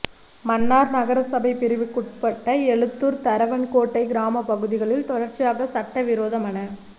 மன்னார் நகரசபை பிரிவுக்குட்பட்ட எழுத்தூர் தரவன் கோட்டை கிராமப் பகுதிகளில் தொடர்ச்சியாக சட்ட விரோத மண